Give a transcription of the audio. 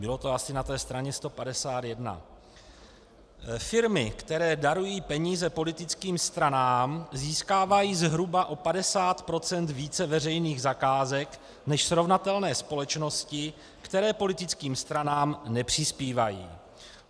Bylo to asi na té straně 151: Firmy, které darují peníze politickým stranám, získávají zhruba o 50 % více veřejných zakázek než srovnatelné společnosti, které politickým stranám nepřispívají.